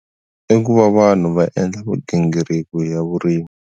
I ku va vanhu va endla migingiriko ra vurimi.